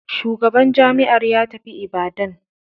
Shugaban jami'ar ya tafi Ibadan.